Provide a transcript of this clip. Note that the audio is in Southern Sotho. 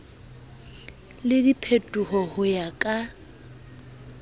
le diphetoho ho ya ka